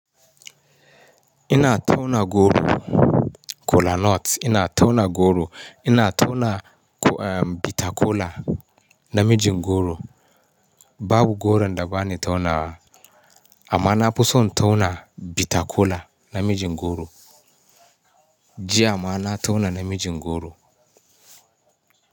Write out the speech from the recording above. Ina tauna goro, kola nuts. Ina tauna goro, ina tauna, eh, bitter kola na mijin goro. Babu goron da ba ni taunawa. Amma na fi son tauna bitter kola na mijin goro. Jiya ma na tauna na mijin goro.